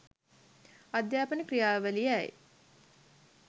අධ්‍යාපන ක්‍රියාවලිය යි.